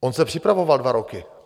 On se připravoval dva roky.